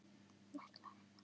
Hann ætlaði að vinna.